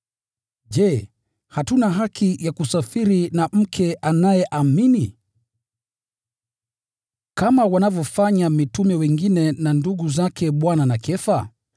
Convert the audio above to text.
Je, hatuna haki ya kusafiri na mke anayeamini, kama wanavyofanya mitume wengine na ndugu zake Bwana na Kefa?